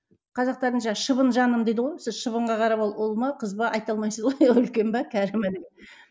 қазақтарда шыбын жаным дейді ғой шыбынға қарап ол ұл ма қыз ба айта алмайсыз ғой үлкен бе кәрі ме деп